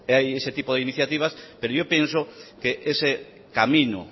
de ese tipo de iniciativas pero yo pienso que ese camino